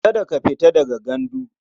Kada ka fita daga gandu.